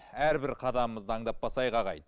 әрбір қадамымызды аңдап басайық ағайын